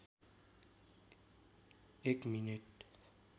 एक मिनेट